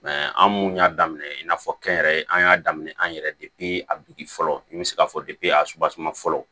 an mun y'a daminɛ i n'a fɔ kɛnyɛrɛye an y'a daminɛ an yɛrɛ a duguki fɔlɔ n bɛ se k'a fɔ a suba fɔlɔ